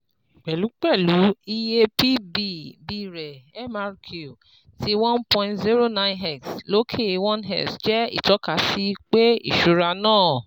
Pẹ̀lúpẹ̀lú, iye P / B B rẹ̀ MRQ ti one point zero nine x lókè one x jẹ́ itọkasi pe iṣura naa